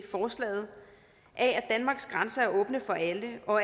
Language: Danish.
forslaget af at danmarks grænser er åbne for alle og